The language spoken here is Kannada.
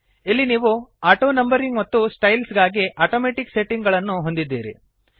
ಇಲ್ಲಿ ನೀವು ಆಟೋನಂಬರಿಂಗ್ ಮತ್ತು ಸ್ಟೈಲ್ಸ್ ಗಾಗಿ ಅಟೊಮೆಟಿಕ್ ಸೆಟ್ಟಿಂಗ್ ಅನ್ನು ಹೊಂದಿದ್ದೀರಿ